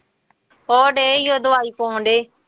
ਉਹ ਡਏ ਸੀ ਉਹ ਦਵਾਈ ਪਾਉਣਡੇ